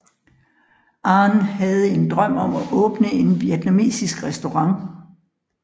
Anh havde en drøm om at åbne en vietnamesisk restaurant